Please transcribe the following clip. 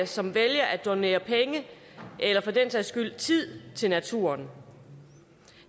som vælger at donere penge eller for den sags skyld tid til naturen